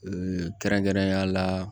kɛrɛnkɛrɛnnenya la